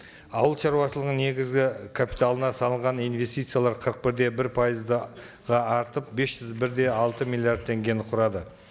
ауыл шаруашылығының негізгі капиталына салынған инвестициялар қырық бір де бір пайызды артып бес жүз бір де алты миллиард теңгені құрады